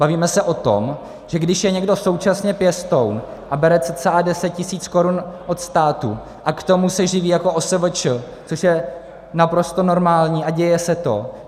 Bavíme se o tom, že když je někdo současně pěstoun a bere cca deset tisíc korun od státu a k tomu se živí jako OSVČ, což je naprosto normální a děje se to.